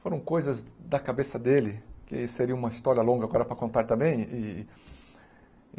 Foram coisas da cabeça dele, que seria uma história longa agora para contar também e.